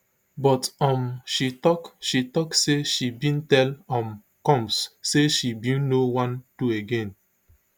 but um she tok she tok say she bin tell um combs say she bin no wan do again